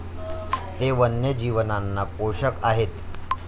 ते वन्यजीवांना पोषक आहेत.